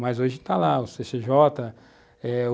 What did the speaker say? Mas hoje está lá o cê cê jota, u